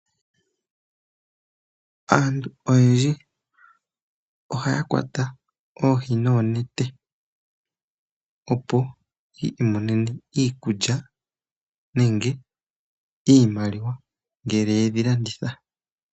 Aantu oyendji ohaya kwata oohi noonete opo yi imonene iikulya nenge iimaliwa ngele yedhi landitha.